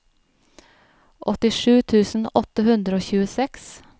åttisju tusen åtte hundre og tjueseks